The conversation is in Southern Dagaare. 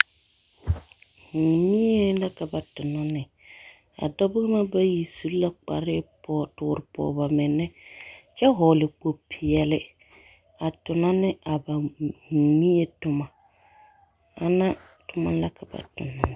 Mie la ka ba tonɔ ne a dɔbɔ ŋa bayi su la kpare toore pɔge ba menne kyɛ hɔɔle kpo-peɛle a tonɔ ne a ba mie tomɔ, ana tomɔ la ka ba tonɔ.